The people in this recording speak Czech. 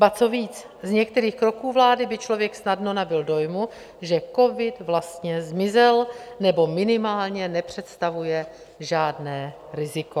Ba co víc, z některých kroků vlády by člověk snadno nabyl dojmu, že covid vlastně zmizel, nebo minimálně nepředstavuje žádné riziko.